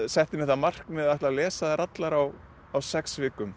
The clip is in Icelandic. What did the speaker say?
setti mér það markmið að lesa þær allar á á sex vikum